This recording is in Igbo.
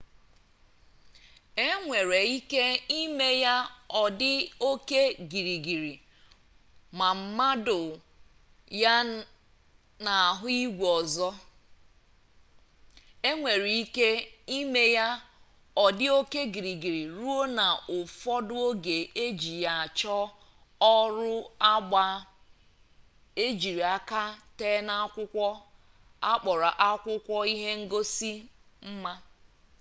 enwere ike ime ya ọ dị oke gịrịgịrị ma mado ya n'ahụ igwe ọzọ enwere ike ime ya ọ dị oke gịrịgịrị ruo na ụfọdụ oge eji ya achọ ọrụ agba ejiri aka tee n'akwụkwọ akpọrọ akwụkwọ ihe ngosi mma